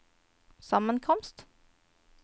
sammenkomst